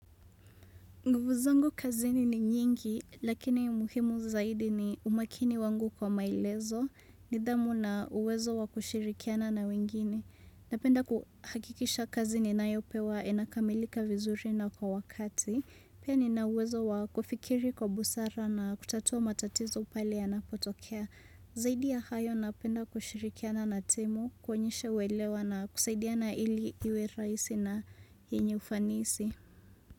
Nguvu zangu kazini ni nyingi, lakini umuhimu zaidi ni umakini wangu kwa maelezo, nidhamu na uwezo wa kushirikiana na wengine. Napenda kuhakikisha kazini ninayo pewa inakamilika vizuri na kwa wakati, pia ni na uwezo wa kufikiri kwa busara na kutatua matatizo pale yanapotokea. Zaidi ya hayo napenda kushirikiana na timu, kuonyesha uelewa na kusaidiana ili iwe raisi na yenye ufanisi.